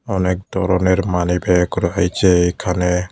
অনেক দরনের money bag রয়েছে এখানে।